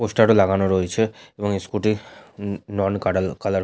poster ও লাগানো রয়েছে এবং স্কুটির টির নন কাটার কালার --